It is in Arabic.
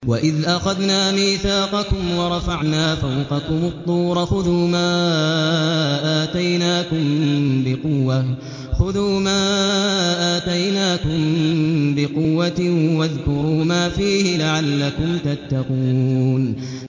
وَإِذْ أَخَذْنَا مِيثَاقَكُمْ وَرَفَعْنَا فَوْقَكُمُ الطُّورَ خُذُوا مَا آتَيْنَاكُم بِقُوَّةٍ وَاذْكُرُوا مَا فِيهِ لَعَلَّكُمْ تَتَّقُونَ